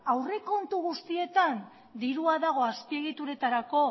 aurrekontu guztietan dirua dago azpiegituretarako